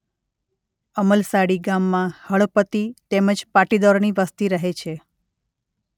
અમલસાડી ગામમાં હળપતિ તેમ જ પાટીદારોની વસ્તી રહે છે.